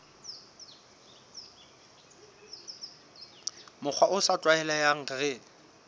mokgwa o sa tlwaelehang re